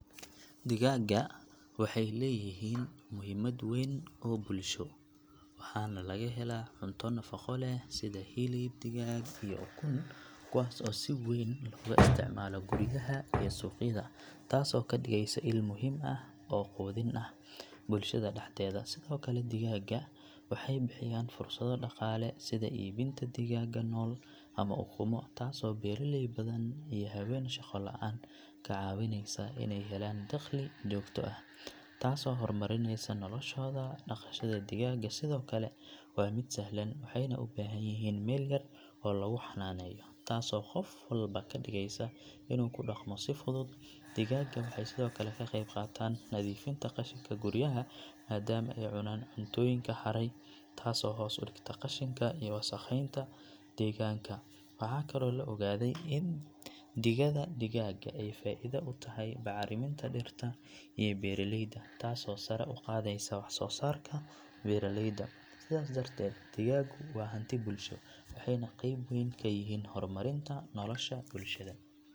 Digaaga waxay leeyihiin muhiimad weyn oo bulsho waxaana laga helaa cunto nafaqo leh sida hilib digaag iyo ukun kuwaas oo si weyn looga isticmaalo guryaha iyo suuqyada taasoo ka dhigaysa il muhiim ah oo quudin ah bulshada dhexdeeda sidoo kale digaaga waxay bixiyaan fursado dhaqaale sida iibinta digaaga nool ama ukumo taasoo beeraley badan iyo haween shaqo la’aan ka caawinaysa inay helaan dakhli joogto ah taasoo horumarinaysa noloshooda dhaqashada digaaga sidoo kale waa mid sahlan waxayna u baahan yihiin meel yar oo lagu xannaaneeyo taasoo qof walba ka dhigaysa inuu ku dhaqmo si fudud digaaga waxay sidoo kale ka qeyb qaataan nadiifinta qashinka guryaha maadaama ay cunaan cuntooyinka hadhay taasoo hoos u dhigta qashinka iyo wasakheynta deegaanka waxaa kaloo la ogaaday in digada digaaga ay faa’iido u tahay bacriminta dhirta iyo beeralayda taasoo sare u qaadaysa waxsoosaarka beeraleyda sidaas darteed digaagu waa hanti bulsho waxayna qayb weyn ka yihiin horumarinta nolosha bulshada.